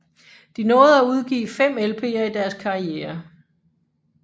De nåede at udgive fem LPer i deres karriere